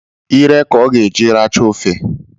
Ire ka ọ ga-eji aracha ofe